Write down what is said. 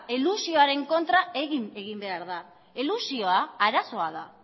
elusioaren kontra ere egin behar da elusioa arazoa da